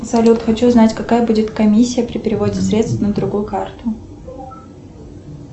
салют хочу узнать какая будет комиссия при переводе средств на другую карту